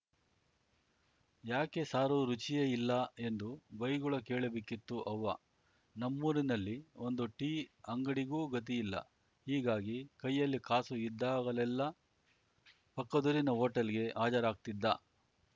ಯಾಕೆ ಸಾರು ರುಚಿಯೇ ಇಲ್ಲ ಎಂದು ಬೈಗುಳ ಕೇಳಬೇಕಿತ್ತು ಅವ್ವ ನಮ್ಮೂರಿನಲ್ಲಿ ಒಂದು ಟೀ ಅಂಗಡಿಗೂ ಗತಿಯಿಲ್ಲ ಹೀಗಾಗಿ ಕೈಯಲ್ಲಿ ಕಾಸು ಇದ್ದಾಗಲೆಲ್ಲ ಪಕ್ಕದೂರಿನ ಹೋಟೆಲ್‌ಗೆ ಹಾಜರಾಗ್ತಿದ್ದ